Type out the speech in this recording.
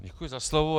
Děkuji za slovo.